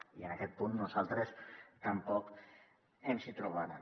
i en aquest punt a nosaltres tampoc ens hi trobaran